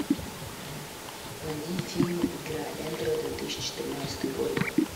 найди фильм игра эндера две тысячи тринадцатый год